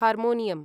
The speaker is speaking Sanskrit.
हार्मोनियम्